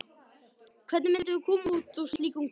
Hvernig myndum við koma út úr slíkum kvóta?